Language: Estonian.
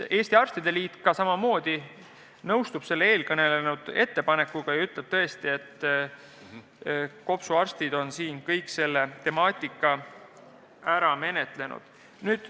Eesti Arstide Liit nõustub sellega ja ütleb, et kopsuarstid on kogu selle temaatika ära menetlenud.